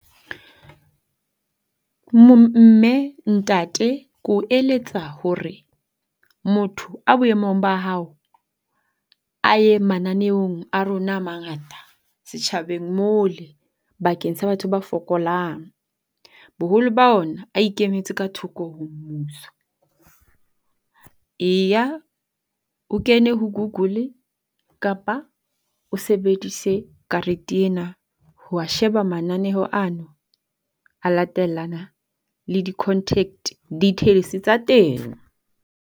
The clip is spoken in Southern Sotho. Mme, ntate ko eletsa hore, motho a boemong ba hao a ye mananeong a rona a mangata sejthabeng mole bakeng sa batho ba fokolang. Boholo ba ona a ikemetse ka thoko ho mmuso. Eya o kene ho Google kapa o sebedise karete ena ho a sheba mananeo ano. A latellana le di-contact details tsa teng.